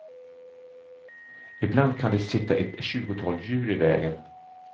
Ibland kan det sitta ett tjugotal djur i vägen.